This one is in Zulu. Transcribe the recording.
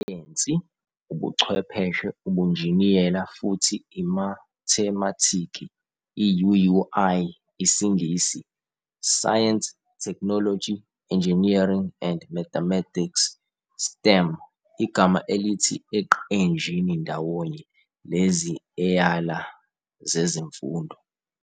Isayensi, Ubuchwepheshe, Ubunjiniyela, futhi imathemathiki, IUUI, isiNgisi- science, technology, engineering, and mathematics, STEM, Igama elithi eqenjini ndawonye lezi eyala zezemfundo.